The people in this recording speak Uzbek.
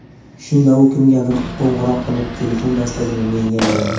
Shunda u kimgadir qo‘ng‘iroq qilib, telefon dastagini menga berdi.